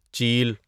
چیل